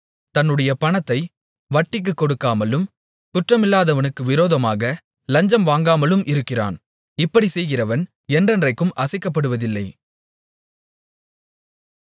தன்னுடைய பணத்தை வட்டிக்குக் கொடுக்காமலும் குற்றமில்லாதவனுக்கு விரோதமாக லஞ்சம் வாங்காமலும் இருக்கிறான் இப்படிச் செய்கிறவன் என்றென்றைக்கும் அசைக்கப்படுவதில்லை